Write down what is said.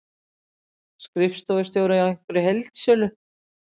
Skrifstofustjóri í einhverri heildsölu.